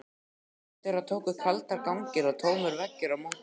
Innandyra tóku kaldir gangar og tómir veggir á móti okkur.